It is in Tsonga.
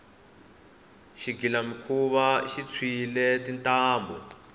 xigilamikhuva xi tshwile tintambhu